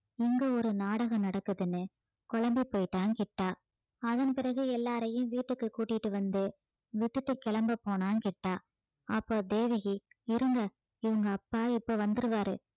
இங்க ஒரு நாடகம் நடக்குதுன்னு குழம்பிப் போயிட்டான் கிட்டா அதன் பிறகு எல்லாரையும் வீட்டுக்கு கூட்டிட்டு வந்து விட்டுட்டு கிளம்ப போனான் கிட்டா அப்போ தேவகி இருங்க இவங்க அப்பா இப்ப வந்துருவாரு